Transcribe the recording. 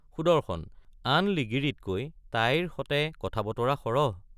সুদৰ্শন—আন লিগিৰিতকৈ তাইৰ সতে কথাবতৰা সৰহ?